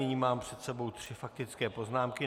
Nyní mám před sebou tři faktické poznámky.